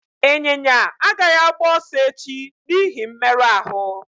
Ịnyịnya agaghị agba ọsọ echi n'ihi mmerụ ahụ